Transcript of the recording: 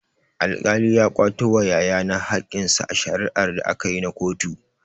Alkali ya kwato wa yaya na hakkinsa a shari'a da akayi na kotu.